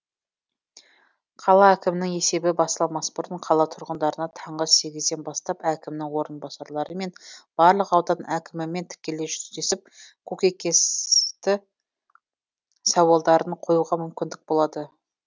қала әкімінің есебі басталмас бұрын қала тұрғындарына таңғы сегізден бастап әкімнің орынбасарлары мен барлық аудан әкімімен тікелей жүздесіп көкейкесті сауалдарын қоюға мүмкіндік болады